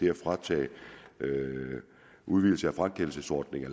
at fratage udvidelsen af frakendelsesordningen